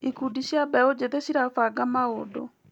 Ikundi cia mbeũnjĩthĩ cirabanga maũndũ.